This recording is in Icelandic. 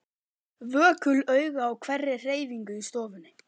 Vökul augu á hverri hreyfingu í stofunni.